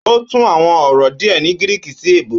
Ó tún àwọn ọ̀rọ̀ díè ní gíríkì sí èbó